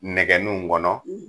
Nɛgɛnun kɔnɔ